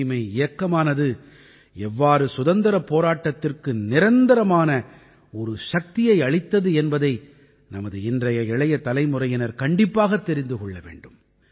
தூய்மை இயக்கமானது எவ்வாறு சுதந்திரப் போராட்டத்திற்கு நிரந்தரமான ஒரு சக்தியை அளித்தது என்பதை நமது இன்றைய இளைய தலைமுறையினர் கண்டிப்பாகத் தெரிந்து கொள்ள வேண்டும்